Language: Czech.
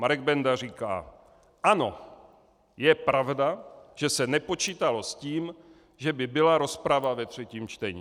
Marek Benda říká: Ano, je pravda, že se nepočítalo s tím, že by byla rozprava ve třetím čtení.